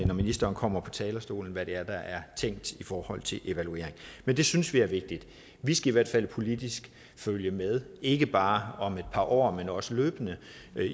når ministeren kommer på talerstolen hvad det er der er tænkt i forhold til evaluering men det synes vi er vigtigt vi skal i hvert fald politisk følge med ikke bare om et par år men også løbende